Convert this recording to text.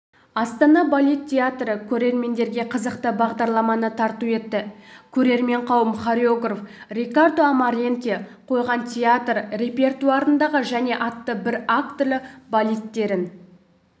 астана балет театры көрермендерге қызықты бағдарламаны тарту етті көрермен қауым хореограф рикардо амаранте қойған театр репертуарындағы және атты бір актілі балеттерін